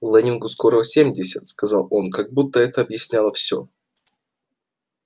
лэннингу скоро семьдесят сказал он как будто это объясняло всё